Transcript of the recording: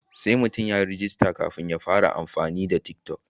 Sai mutum ya yi rajista kafin ya fara amfani da tik toc.